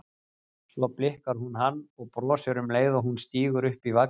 Svo blikkar hún hann og brosir um leið og hún stígur upp í vagninn.